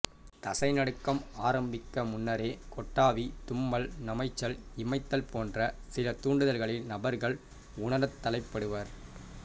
தசை நடுக்கம் ஆரம்பிக்க முன்னரே கொட்டாவி தும்மல் நமைச்சல் இமைத்தல் போன்ற சில தூண்டுதல்களை நபர்கள் உணரத் தலைப்படுவர்